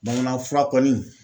Bamanan fura kɔni